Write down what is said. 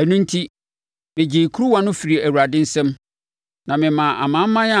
Ɛno enti, megyee kuruwa no firii Awurade nsam, na memaa amanaman a